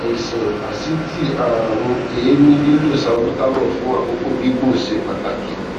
àìsàn asítì àrùn èémí lílo salbutamol fún àkókò gígùn ṣe pàtàkì